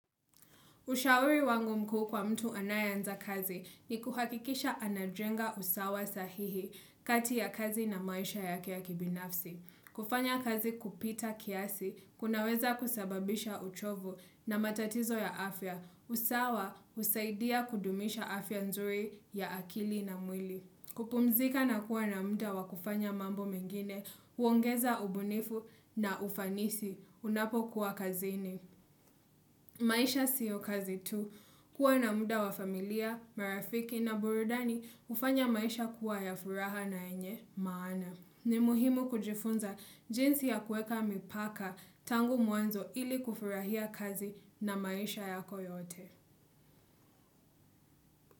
Ushauri wangu mkuu kwa mtu anayanza kazi ni kuhakikisha anajenga usawa sahihi kati ya kazi na maisha yake ya kibinafsi. Kufanya kazi kupita kiasi, kunaweza kusababisha uchovu na matatizo ya afya, usawa husaidia kudumisha afya nzuri ya akili na mwili. Kupumzika na kuwa na mda wakufanya mambo mengine, uongeza ubunifu na ufanisi, unapo kuwa kazini. Maisha siyo kazi tu kuwa na muda wa familia, marafiki na burudani hufanya maisha kuwa ya furaha na yenye maana. Ni muhimu kujifunza jinsi ya kuweka mipaka tangu mwanzo ili kufurahia kazi na maisha yako yote.